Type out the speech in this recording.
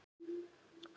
Þín Salvör.